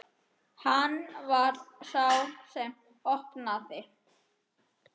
Hann var sá sem opnaði.